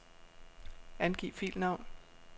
Angiv filnavn.